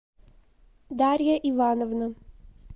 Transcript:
дарья ивановна